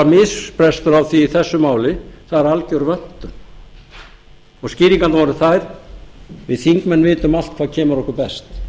misbrestur á því í þessu máli það er alger vöntun skýringarnar voru þær við þingmenn vitum allt hvað kemur okkur best